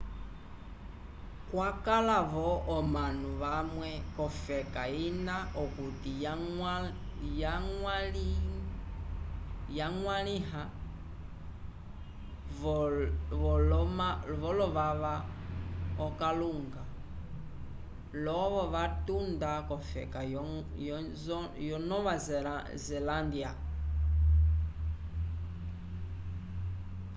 kwakala vo omanu vamwe cofeka ina okuti yagwaliha vo lovava akalunga lovo vatunda cofeka yo nova zalândya